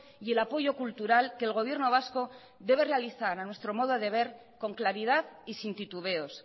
y el apoyo cultural que el gobierno vasco debe realizar a nuestro modo de ver con claridad y sin titubeos